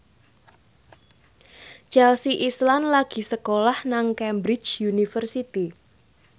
Chelsea Islan lagi sekolah nang Cambridge University